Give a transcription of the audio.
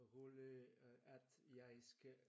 Rolig øh at jeg skal